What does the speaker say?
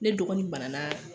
Ne dɔgɔnin banana